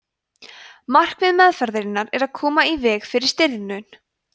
markmið meðferðarinnar er að koma í veg fyrir stirðnun